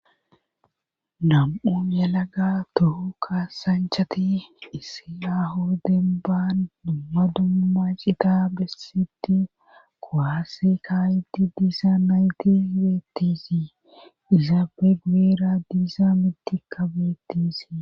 nam7u yelaga tohu kaasanchati issi aaho demban dumma dumma cita bessiddi kuwaase kaayidi diza nayti beettesi izaape guyera diza mittikka beettesi.